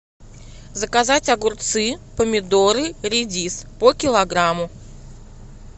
заказать огурцы помидоры редис по килограмму